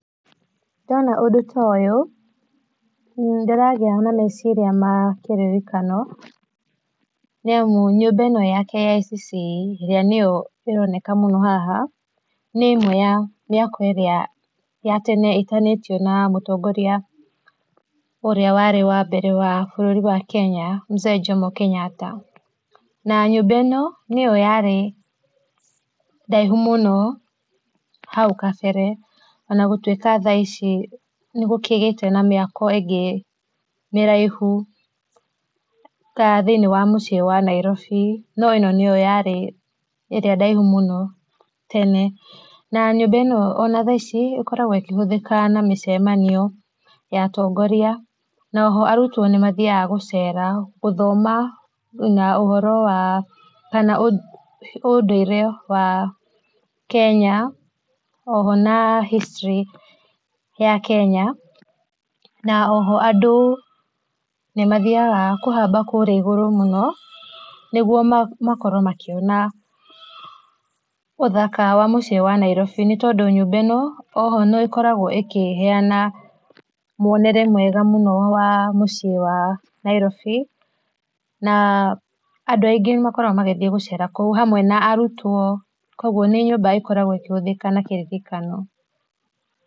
Ndona ũndũ ta ũyũ, ndĩragia na meciria ma kĩririkano, nĩ amu nyũmba ĩno ya KICC, ĩrĩa niyo ĩroneka mũno haha, nĩ ĩmwe ya mĩako ĩrĩa ya tene ĩtanĩtio na mũtongoria ũria warĩ wa mbere bũrũri-inĩ wa Kenya, Mzee Jomo Kenyatta. Na nyũmba ĩno nĩyo yarĩ ndaihũ mũno hau kabere, ona gũtwika thaa ici nĩgũkĩgĩte na mĩako ĩngĩ mĩraihu, ta, thĩiniĩ wa mũciĩ wa Nairobi, no ĩno nĩyo yarĩ ĩria ndaihu mũno tene. Na nyũmba ĩno ona thaa ici ĩkoragwo ĩkĩhũthĩka na mĩcemanio ya atongoria, na o ho arutwo nĩmathiaga gũcera gũthoma na ũhoro wa, kana ũndũire wa Kenya, oho na history ya Kenya, na oho andũ nĩ mathiaga kũhamba kũria igũrũ mũno, nĩguo ma makorwo makĩona ũthaka wa mũciĩ wa Nairobi. Nĩ tondũ nyũmba ĩno oho no ĩkoragwo ĩkĩheana mwonere mwega mũno wa muciĩ wa Nairobi, na andũ aingĩ nĩ makoragwo magĩthiĩ gũcera kũu, hamwe na arutwo, koguo nĩ nyũmba ikoragwo ĩkĩhũthĩka na kĩririkano.